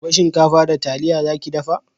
Gobe shinkafa da taliya za ki dafa?